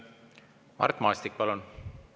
Mart Maastik, palun!